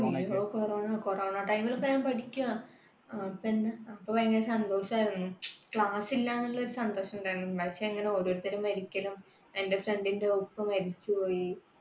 corona time ൽ ഒക്കെ ഞാൻ പഠിക്കാ. അപ്പൊ ഭയങ്കര സന്തോഷായിരുന്നു. class ഇല്ലാന്നുള്ളൊരു സന്തോഷം ഉണ്ടായിരുന്നു. പക്ഷെ ഇങ്ങനെ ഓരോരുത്തർ മരിക്കലും എന്റെ friend ന്റെ ഉപ്പ മരിച്ചു പോയി